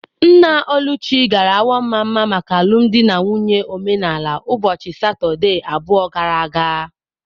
Nna Oluchi gara Awo-Mama maka alụmdi na nwunye omenala ụbọchị Satọdee abụọ gara aga.